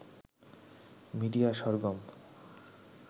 media Sargam